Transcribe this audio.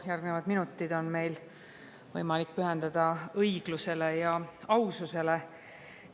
Järgnevad minutid on meil võimalik pühendada õiglusele ja aususele.